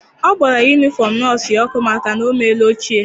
Ọ gbara yunifọm nọọsụ ya ọkụ maka na o meela ochie.